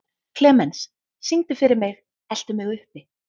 Klemens, syngdu fyrir mig „Eltu mig uppi“.